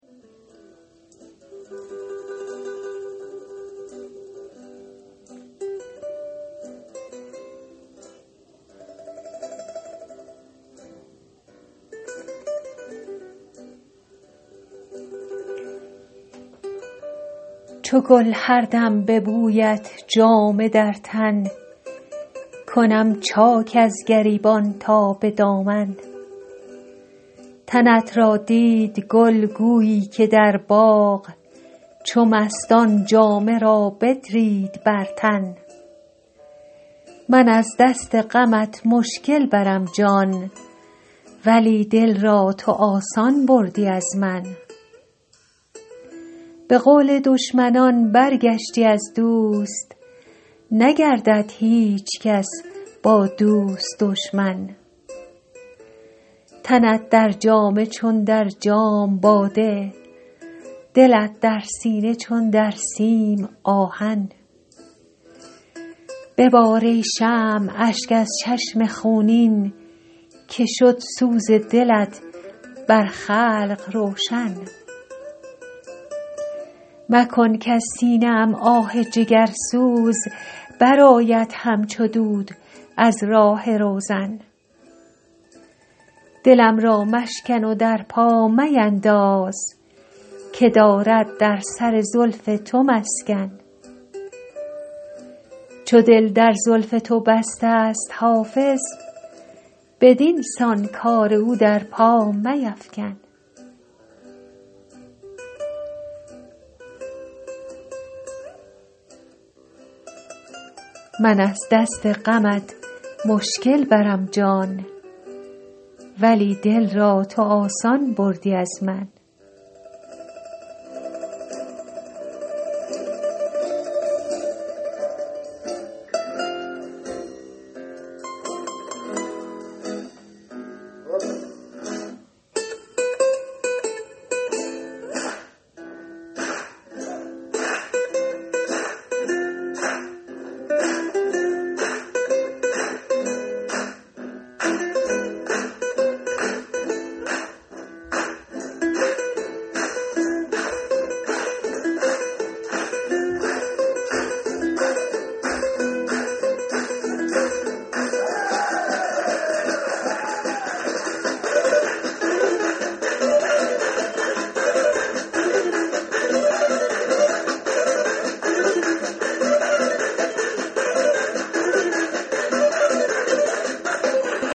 چو گل هر دم به بویت جامه در تن کنم چاک از گریبان تا به دامن تنت را دید گل گویی که در باغ چو مستان جامه را بدرید بر تن من از دست غمت مشکل برم جان ولی دل را تو آسان بردی از من به قول دشمنان برگشتی از دوست نگردد هیچ کس با دوست دشمن تنت در جامه چون در جام باده دلت در سینه چون در سیم آهن ببار ای شمع اشک از چشم خونین که شد سوز دلت بر خلق روشن مکن کز سینه ام آه جگرسوز برآید همچو دود از راه روزن دلم را مشکن و در پا مینداز که دارد در سر زلف تو مسکن چو دل در زلف تو بسته ست حافظ بدین سان کار او در پا میفکن